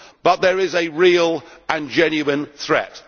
But there is a real and genuine threat.